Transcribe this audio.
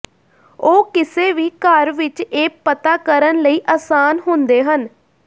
ਉਹ ਕਿਸੇ ਵੀ ਘਰ ਵਿੱਚ ਇਹ ਪਤਾ ਕਰਨ ਲਈ ਆਸਾਨ ਹੁੰਦੇ ਹਨ